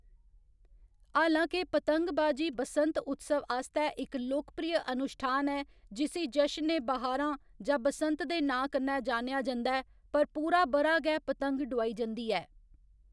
हालां के पतंगबाजी बसंत उत्सव आस्तै इक लोकप्रिय अनुश्ठान ऐ जिसी जशन ए बहारां जां बसंत दे नांऽ कन्नै जानेआ जंदा ऐ, पर पूरा ब'रा गै पतंग डोआई जंदी ऐ।